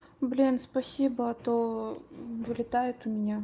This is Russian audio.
блин спасибо а то вылетает у меня